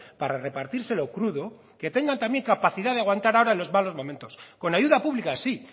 para repartírselo crudo que tengan también capacidad de aguantar ahora en los malos momentos con ayuda pública sí